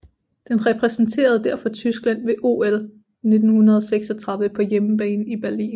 Den repræsenterede derfor Tyskland ved OL 1936 på hjemmebane i Berlin